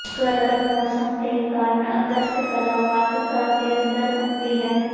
ਗਰਮ ਮੌਸਮ ਦੇ ਕਾਰਨ ਅਗਸਤ ਕਲਾ ਵਾਕ ਘਰ ਦੇ ਅੰਦਰ ਘੁੰਮਦੀ ਹੈ